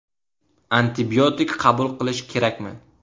Antibiotik qabul qilish kerakmi?